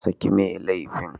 Saki mai laifin.